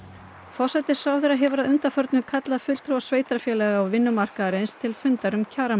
forsætisráðherra hefur að undanförnu kallað fulltrúa sveitarfélaga og vinnumarkaðarins til fundar um kjara